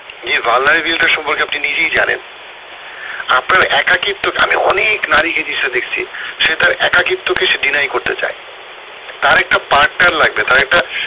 এই vulnerability সম্পর্কে আপনি নিজেই জানেন আপনার একাকিত্ব কে আমি অনেক নারী কে এই জিনিসটা দেখছি সে তার একাকিত্ব কে করতে চায় তার একটা partner লাগবে তার একটা